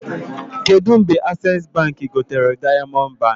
Kedụ mgbe Accessi Baankị gotere Diamond Baankị?